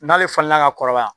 N'ale falenna ka kɔrɔbaya